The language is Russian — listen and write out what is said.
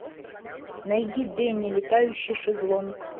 найди денни летающий шезлонг